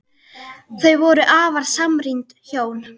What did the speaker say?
Þau voru afar samrýnd hjón.